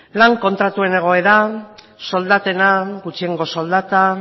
lan kontratuen egoera soldatena gutxiengo soldata